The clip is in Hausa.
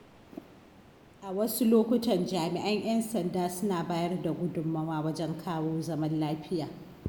A wasu lokutan jami'an 'yan sanda suna bayar da gudunmawa wajen kawo zaman lafiya.